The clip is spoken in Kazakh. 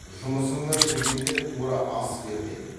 жұмысыңнан келгенде тура ас бер де